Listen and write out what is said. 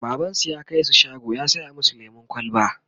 babansu ya kaisu shago ya saya masu lemun kwalba